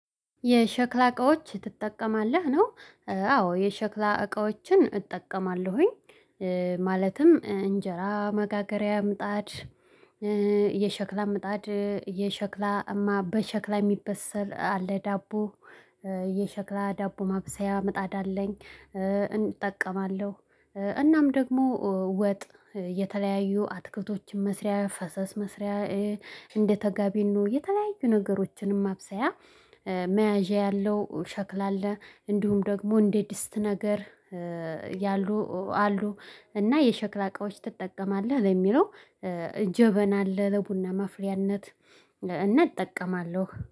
የሸክላ እቃዎች ትጠቀማለህ ነው? አዎ የሸክላ እቃዎችን እጠቀማለሁኝ። ማለትም እንጀራ መጋገሪያ ምጣድ። የሸክላ ምጣድ የሸክላ በሸክላ የሚበሰል አለ ዳቦ። የሸክላ ዳቦ ማብሰያ ምጣዳ አለኝ። እንጠቀማለሁ እናም ደግሞ ወጥ የተለያዩ አትክልቶችን መስሪያ ፈሰስ መስሪያ። እንደተጋቢኖ የተለያዩ ነገሮችንም ማብሰያ። መያዣ ያለው ሸክላ አለ እንዲሁም ደግሞ እንዴ ድስት ነገር። ያሉ አሉ እና የሸክላ እቃዎች ትጠቀማለህ ለሚለው? ጀበና አለ ለቡና ማፍሪያነት። እና እጠቀማለሁ